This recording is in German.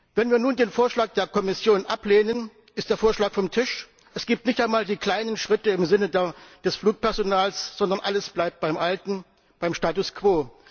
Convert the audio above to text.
Wenn wir nun den Vorschlag der Kommission ablehnen, ist der Vorschlag vom Tisch, es gibt nicht einmal die kleinen Schritte im Sinne des Flugpersonals, sondern alles bleibt beim Alten, beim Status quo.